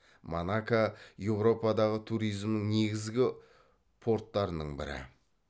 монако еуропадағы туризмнің негізгі порттарының бірі